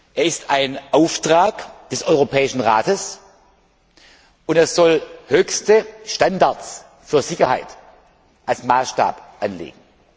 Er ist ein Auftrag des Europäischen Rates und er soll höchste Standards für Sicherheit als Maßstab anlegen.